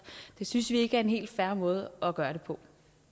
det synes vi ikke er en helt fair måde at gøre det på